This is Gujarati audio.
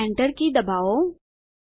હવે Enter કી દબાવો